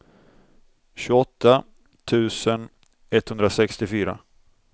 tjugoåtta tusen etthundrasextiofyra